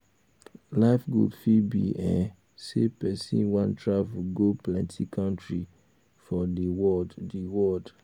life goal fit be um sey person um wan travel go um plenty countries for di world di world